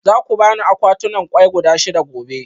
Za ku ba ni akwatunan kwai guda shida gobe?